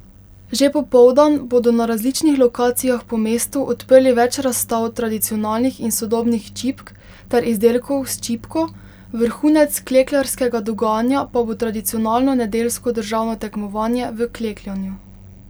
Že popoldan bodo na različnih lokacijah po mestu odprli več razstav tradicionalnih in sodobnih čipk ter izdelkov s čipko, vrhunec klekljarskega dogajanja pa bo tradicionalno nedeljsko državno tekmovanje v klekljanju.